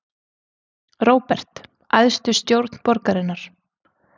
Róbert: Æðstu stjórn borgarinnar?